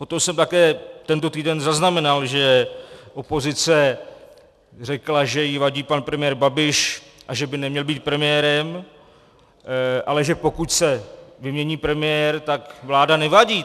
Potom jsem také tento týden zaznamenal, že opozice řekla, že jí vadí pan premiér Babiš a že by neměl být premiérem, ale že pokud se vymění premiér, tak vláda nevadí.